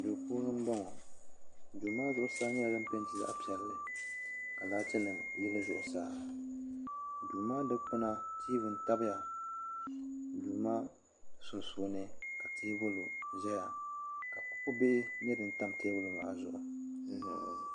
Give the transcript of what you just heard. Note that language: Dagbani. duu puuni n boŋo duu maa zuɣusaa nyɛla din peenti zaɣ piɛlli ka laati nim yili zuɣusaa duu maa dikpuna tiivi n tabiya duu maa dikpuna ka teebuli ʒɛya ka kuɣu nyɛ din tam teebuli maa zuɣu